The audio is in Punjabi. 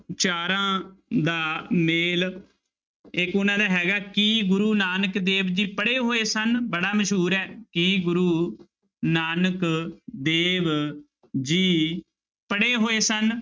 ਚਾਰਾਂ ਦਾ ਮੇਲ, ਇੱਕ ਉਹਨਾਂ ਦਾ ਹੈਗਾ ਕੀ ਗੁਰੂ ਨਾਨਕ ਦੇਵ ਜੀ ਪੜ੍ਹੇ ਹੋਏ ਸਨ ਬੜਾ ਮਸ਼ਹੂਰ ਹੈ, ਕੀ ਗੁਰੂ ਨਾਨਕ ਦੇਵ ਜੀ ਪੜ੍ਹੇ ਹੋਏ ਸਨ?